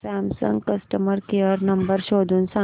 Samsung customer care number शोधून सांग